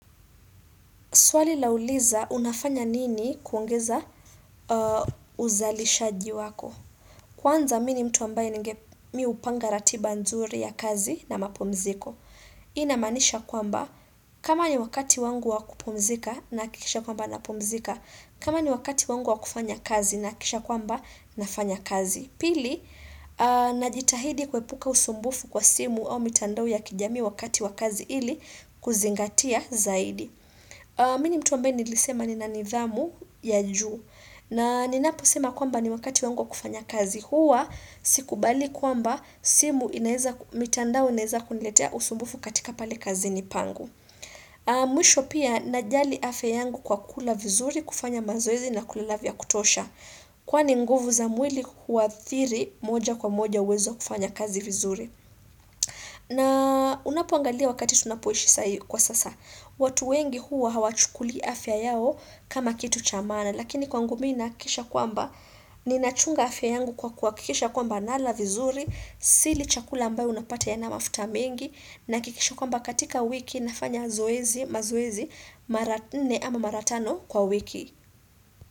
Swali lauliza unafanya nini kuongeza uzalishaji wako. Kwanza mini mtu ambaye ninge mi hupanga ratiba nzuri ya kazi na mapumziko. Hii inamaanisha kwamba kama ni wakati wangu wa kupumzika nahakikisha kwamba napumzika. Kama ni wakati wangu wa kufanya kazi nahakikisha kwamba nafanya kazi. Pili, najitahidi kuepuka usumbufu kwa simu au mitandao ya kijamii wakati wa kazi ili kuzingatia zaidi. Mimi ni mtu ambaye nilisema nina nidhamu ya juu na ninaposema kwamba ni wakati wangu wa kufanya kazi huwa Sikubali kwamba simu inaeza, mitandao inaeza kuniletea usumbufu katika pale kazini pangu Mwisho pia najali afya yangu kwa kula vizuri kufanya mazoezi na kulala vya kutosha Kwani nguvu za mwili huadhiri moja kwa moja uwezo wa kufanya kazi vizuri na unapoangalia wakati tunapoishi sai kwa sasa watu wengi huwa hawachukulii afya yao kama kitu cha maana Lakini kwangu mi nahakikisha kwamba Ninachunga afya yangu kwa kwa kuhakikisha kwamba nala vizuri Sili chakula ambayo unapata yana mafuta mengi Nahakikisha kwamba katika wiki nafanya zoezi mazoezi Mara nne ama mara tano kwa wiki.